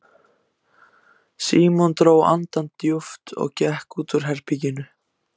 Símon dró andann djúpt og gekk út úr herberginu.